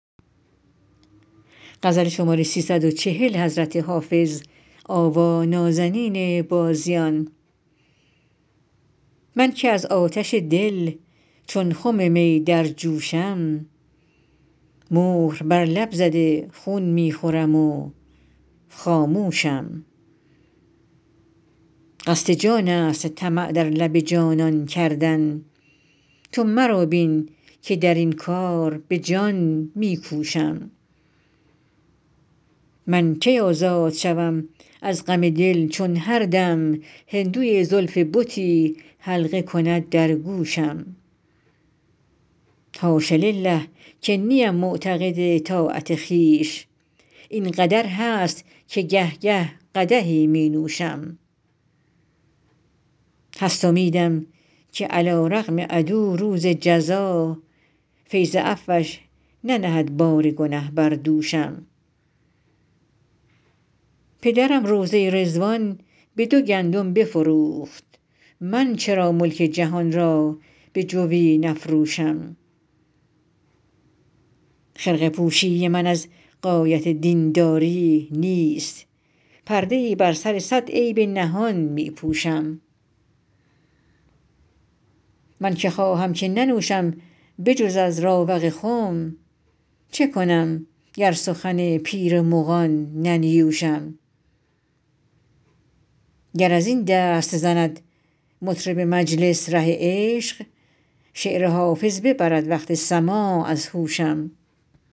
من که از آتش دل چون خم می در جوشم مهر بر لب زده خون می خورم و خاموشم قصد جان است طمع در لب جانان کردن تو مرا بین که در این کار به جان می کوشم من کی آزاد شوم از غم دل چون هر دم هندوی زلف بتی حلقه کند در گوشم حاش لله که نیم معتقد طاعت خویش این قدر هست که گه گه قدحی می نوشم هست امیدم که علیرغم عدو روز جزا فیض عفوش ننهد بار گنه بر دوشم پدرم روضه رضوان به دو گندم بفروخت من چرا ملک جهان را به جوی نفروشم خرقه پوشی من از غایت دین داری نیست پرده ای بر سر صد عیب نهان می پوشم من که خواهم که ننوشم به جز از راوق خم چه کنم گر سخن پیر مغان ننیوشم گر از این دست زند مطرب مجلس ره عشق شعر حافظ ببرد وقت سماع از هوشم